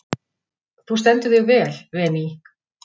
Þú stendur þig vel, Véný!